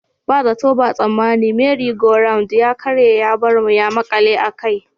Ba zato ba tsammani 'Merry Go Round' ya karye ya bar mu ya makale a kai.